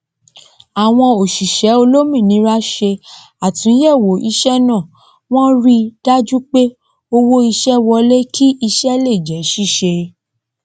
àwọn òsíṣẹ olómìnira se àtúnyẹwò iṣẹ náà wọn rí dajú pé owó ísẹ wọlé kí ísẹ lè jẹ síse